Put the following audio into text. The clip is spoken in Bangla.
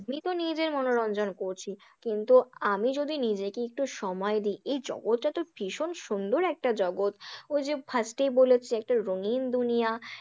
নিজের মনোরঞ্জন করছি, কিন্তু আমি যদি নিজেকে একটু সময় দিই, এই জগৎটা তো ভীষণ সুন্দর একটা জগৎ, ওই যে first এই বলেছি একটা রঙিন দুনিয়া।